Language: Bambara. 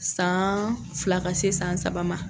San fila ka se san saba ma.